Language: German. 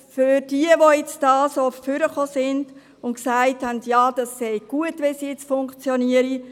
Für jene, die gesagt haben, es sei gut wie es jetzt funktioniert: